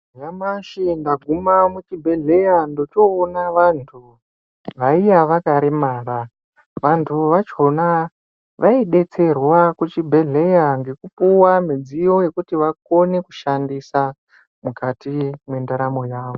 Nyamashi ndaguma muchibhehleya ndochoona vanhu vaiya vakaremara ,vantu vachona vaidetserwa kuchibhehleya ngekupuwa midziyo yekuti vakone kushandisa mukati mwendaramo yavo.